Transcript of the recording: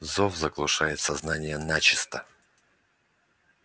зов заглушает сознание начисто